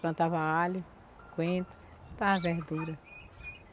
Plantava alho, coentro, plantava verdura.